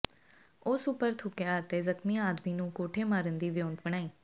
ਉਸ ਉੱਪਰ ਥੁੱਕਿਆ ਅਤੇ ਜ਼ਖਮੀ ਆਦਮੀ ਨੂੰ ਕੋਠੇ ਮਾਰਨ ਦੀ ਵਿਉਂਤ ਬਣਾਈ